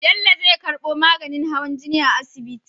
Bello zai karbo maganin hawan jini a asibiti